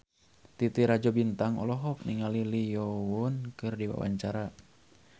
Titi Rajo Bintang olohok ningali Lee Yo Won keur diwawancara